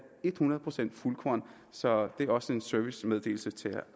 et hundrede procent fuldkorn så det er også en servicemeddelelse til